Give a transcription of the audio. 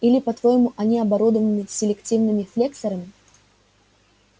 или по-твоему они оборудованы селективными флексорами